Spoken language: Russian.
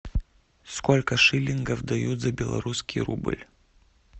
сколько шиллингов дают за белорусский рубль